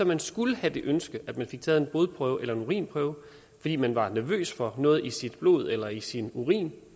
man så skulle have det ønske at man fik taget en blodprøve eller en urinprøve fordi man var nervøs for noget i sit blod eller i sin urin